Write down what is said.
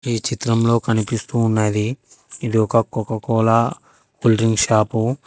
ఈ చిత్రంలో కనిపిస్తూ ఉన్నది ఇది ఒక కొకొకోల కూల్ డ్రింక్ షాపు .